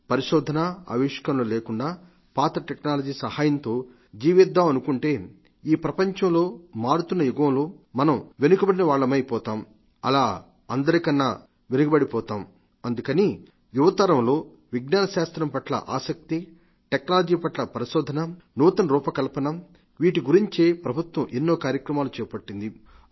పరిశోధన పరికల్పన లేకుండా పాతటెక్నాలజీ సహాయంతో జీవిద్దామనుకుంటే ఈ ప్రపంచంలో మారుతున్న యుగంలో మన వెనుకబడిన వాళ్లమై పోతాం అలా అందరికన్నా వెనుకబడిపోతుంటాం అందుకని యువతరంలో విజ్ఞానశాస్త్రం పట్ల ఆసక్తి టెక్నాలజీ పట్ల పరిశోధనస నూతన రూపకల్పన వీటి గురించే ప్రభుత్వం ఎన్నో కార్యక్రమాలు చేపట్టింది